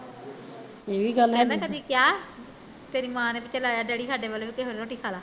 ਕਹਿਦਾ ਕਦੀ ਕਿਹਾਂ, ਤੇਰੀ ਮਾਂ ਨੇ ਵੀ ਚੱਲ ਆਜਾ ਡੈਡੀ ਸਾਡੇ ਵੱਲ ਵੀ ਰੋਟੀ ਖਾਲਾ